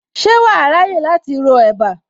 Ṣé wàá ráyè láti ro ẹ̀bá